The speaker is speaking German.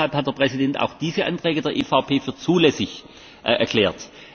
Deshalb hat der Präsident auch diese Anträge der EVP für zulässig erklärt.